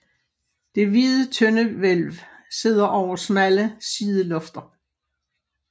Det hvide tøndehvælv sidder over smalle sidelofter